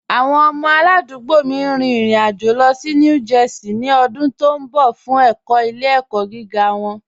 Awọn ọmọ aládùgbò mí n rìn ìrìn-àjọ̀ lọ sí New Jersey ni ọ̀dún tó nbọ̀ fun ẹkọ̀ ilẹ̀-ẹkọ̀ giga wọn